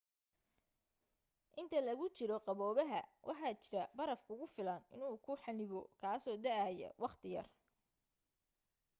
inta lagu jiro qaboobaha waxaa jira baraf kugu filan inuu ku xanibo kaaso da'aya wakhti yar